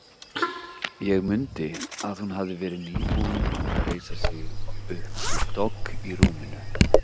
Hún mundi að hún hafði verið nýbúin að reisa sig upp við dogg í rúminu.